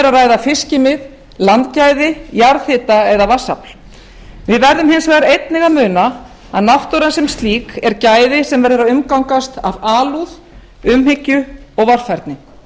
ræða fiskimið landgæði jarðhita eða vatnsafls við verðum hins vegar einnig að muna að náttúran sem slík er gæði sem verður að umgangast af alúð umhyggju og varfærni